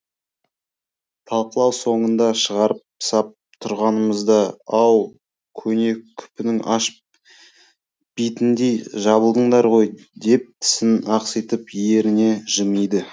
талқылау соңында шығарып сап тұрғанымызда ау көне күпінің аш битіндей жабылдыңдар ғой деп тісін ақситып еріне жымиды